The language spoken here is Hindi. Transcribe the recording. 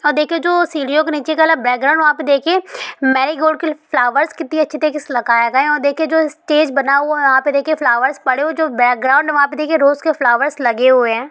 अ देखिए जो सीडियों के नीचे का वाला बैकग्राउंड वहा पे देखिए मेरिगोल्ड के फ्लावर्स कितने अच्छी तरीके से लगाया गया है | देखिए जो स्टेज बना हुवा है वहा पर देखिये फ्लावर्स पड़े हुवे है जो बैकग्राउंड वहा पे देखिए रोज़ के फ्लावर्स लगे हुवे है।